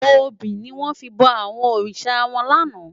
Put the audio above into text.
Óbi niwòn fi bò àwòn órisá wán làná